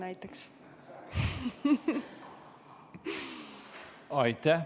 Aitäh!